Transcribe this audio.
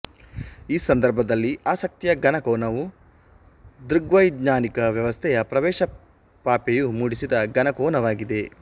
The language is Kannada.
ಈ ಸಂದರ್ಭದಲ್ಲಿ ಆಸಕ್ತಿಯ ಘನ ಕೋನವು ದೃಗ್ವೈಜ್ಞಾನಿಕ ವ್ಯವಸ್ಥೆಯ ಪ್ರವೇಶ ಪಾಪೆಯು ಮೂಡಿಸಿದ ಘನ ಕೋನವಾಗಿದೆ